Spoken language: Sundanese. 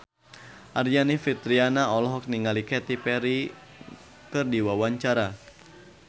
Aryani Fitriana olohok ningali Katy Perry keur diwawancara